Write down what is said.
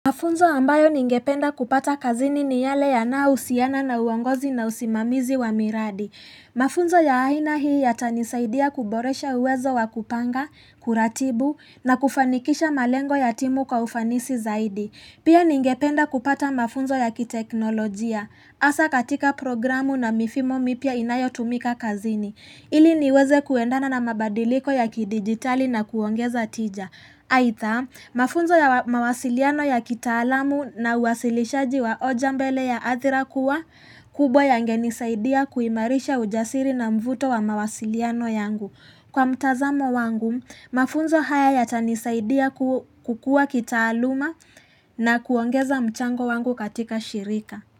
Mafunzo ambayo ningependa kupata kazini ni yale yanayohusiana na uongozi na usimamizi wa miradi. Mafunzo ya aina hii yatanisaidia kuboresha uwezo wa kupanga, kuratibu na kufanikisha malengo ya timu kwa ufanisi zaidi. Pia ningependa kupata mafunzo ya kiteknolojia. Hasa katika programu na mifumo mipya inayotumika kazini. Ili niweze kuendana na mabadiliko ya kidigitali na kuongeza tija. Aidha, mafunzo ya mawasiliano ya kitaalamu na uwasilishaji wa hoja mbele ya athira kuwa kubwa yangenisaidia kuimarisha ujasiri na mvuto wa mawasiliano yangu. Kwa mtazamo wangu, mafunzo haya yatanisaidia kukua kitaaluma na kuongeza mchango wangu katika shirika.